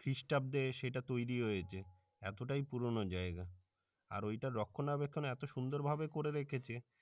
খ্রিস্টাব্দে সেটা তরি হয়েছে এতোটাই পুরনো জাইগা আর ওইটার রক্ষণাবেক্ষণ এতো সুন্দর ভাবে করে রেখেছে